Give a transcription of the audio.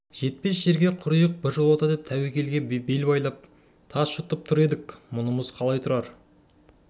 жетпес жерге құриық біржолата деп тәуекелге бел байлап тас жұтып тұр едік мұнымыз қалай тұрар